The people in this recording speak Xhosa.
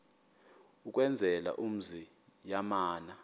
ukwenzela umzi yamana